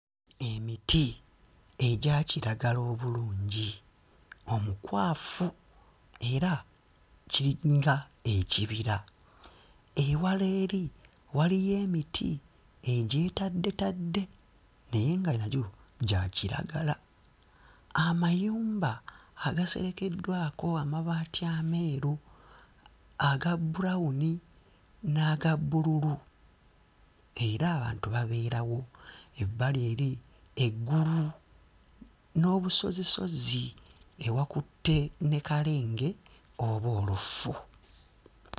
Emiti egya kiragala obulungi omukwafu era kiringa ekibira. Ewala eri waliyo emiti egyetaddetadde naye nga nagyo gya kiragala. Amayumba agaserekeddwako amabaati ameeru, aga brown n'aga bbululu. Era abantu babeerawo. Ebbali eri, eggulu n'obusozisozi ewakutte ne kalenge oba olufu.